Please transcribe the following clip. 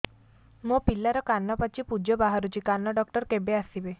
ମୋ ପିଲାର କାନ ପାଚି ପୂଜ ବାହାରୁଚି କାନ ଡକ୍ଟର କେବେ ଆସିବେ